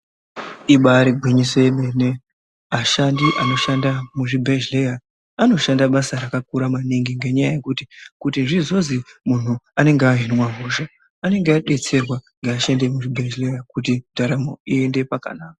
Ibaari gwinyiso remene, ashandi anoshanda muzvibhedhleya, anoshanda basa rakakura maningi, ngenyaya yekuti, kuti zvizozi muntu anenge ahinwa hosha, anenge adetserwa ngeashandi emuzvibhedhleya kuti ndaramo iyende pakanaka.